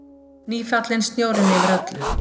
Nýfallinn snjórinn yfir öllu.